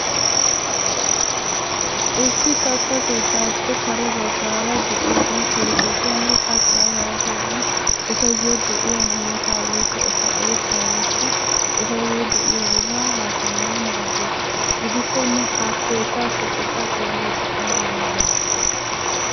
Issi katta keettappe kare baggaara de'iyaagan keettatanne kattaa yaagiyaagan etayyo de'iyaa hanota woykko eta eeshshaa woykko etayyo de'iyaabata haasayanawu maaddees. Gidikkonne ha keettaa keexxeta xeelliyoode ayba malati?